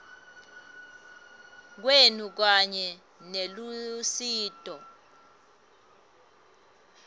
kwenu kanye nelusito